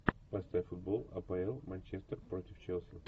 поставь футбол апл манчестер против челси